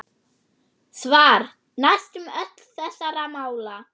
Svar: Næstum öll þessara mála